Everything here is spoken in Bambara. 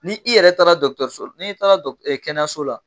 Ni i yɛrɛ taara la n'i taara n'i taara kɛnɛyaso la.